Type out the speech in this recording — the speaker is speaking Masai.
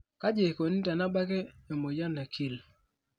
kaji eikoni tenebnaki emoyian e Kyle?